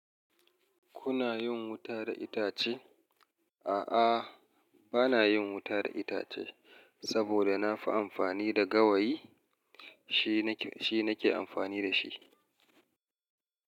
Kuna yin wuta da itace? A'a, ba na yin wuta da itace saboda na fi amfani da gawayi, shi nake amfani da shi.